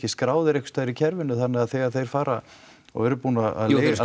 skráðir einhvers staðar í kerfinu þannig að þegar þeir fara og eru búnir að